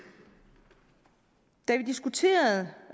diskuterede